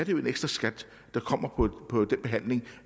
en ekstraskat der kommer på den behandling